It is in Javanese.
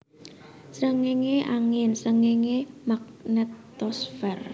Sréngéngé angin Sréngéngé magnetosfer